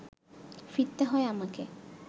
ফিরতে হয় আমাকে